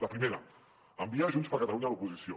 la primera enviar a junts per catalunya a l’oposició